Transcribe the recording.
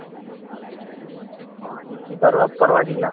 ಓ ಇಲ್ಲಿ ಬರುವಾಗ ಪರವಾಗಿಲ್ಲ